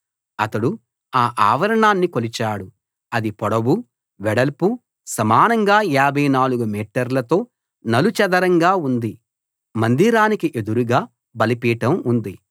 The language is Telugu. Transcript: అతడు ఆ ఆవరణాన్ని కొలిచాడు అది పొడవు వెడల్పు సమానంగా 54 మీటర్లతో నలుచదరంగా ఉంది మందిరానికి ఎదురుగా బలిపీఠం ఉంది